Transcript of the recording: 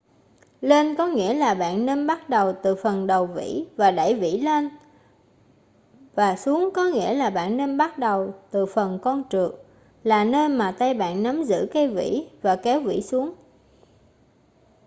lên có nghĩa là bạn nên bắt đầu từ phần đầu vĩ và đẩy vĩ lên và xuống có nghĩa là bạn nên bắt đầu từ phần con trượt là nơi mà tay bạn nắm giữ cây vĩ và kéo vĩ xuống